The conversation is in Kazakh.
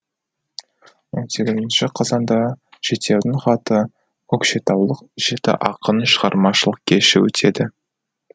он сегізінші қазанда жетеудің хаты көкшетаулық жеті ақынның шығармашылық кеші өтеді